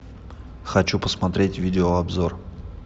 хочу посмотреть видеообзор